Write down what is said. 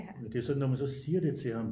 Men det er så når man så siger det til ham